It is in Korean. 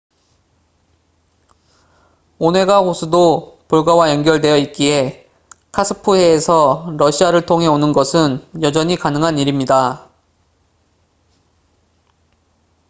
오네가 호수도 볼가와 연결되어 있기에 카스프해에서 러시아를 통해 오는 것은 여전히 가능한 일입니다